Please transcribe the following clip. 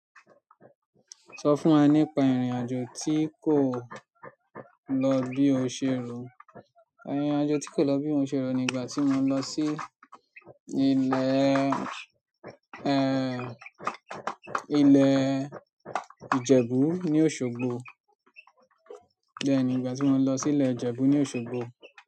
Sọ fún wá nípa irin àjò ti kò lọ bí o ṣe ro. Ìrìn àjò tí kò lọ bí ó ṣe rù nígbà tí mo lọ sí ilẹ̀ ẹ́ Ilẹ̀ Ìjẹ̀bú ní Òṣogbo. Bẹ́ẹ̀ni, ìgbà tí mo lọ sí Ilẹ̀ Ìjẹ̀bú ní Òṣogbo.